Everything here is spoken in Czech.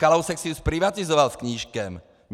Kalousek si ji zprivatizoval s Knížkem.